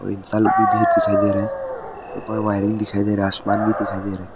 और इंसान लोग भी भीड़ दिखाई दे रहा है ऊपर वायरिंग दिखाई दे रहा है आसमान भी दिखाई दे रहा है।